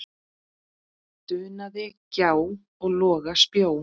dunaði gjá og loga spjó.